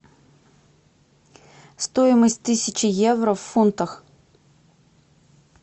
стоимость тысячи евро в фунтах